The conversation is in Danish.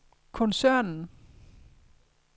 koncernen